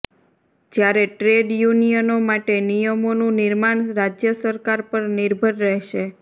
જ્યારે ટ્રેડ યુનિયનો માટે નિયમોનું નિર્માણ રાજ્ય સરકાર પર નિર્ભર રહેશે